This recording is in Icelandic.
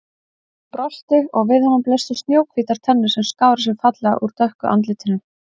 Hún brosti og við honum blöstu snjóhvítar tennur sem skáru sig fallega úr dökku andlitinu.